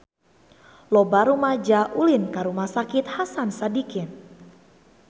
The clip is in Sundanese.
Loba rumaja ulin ka Rumah Sakit Hasan Sadikin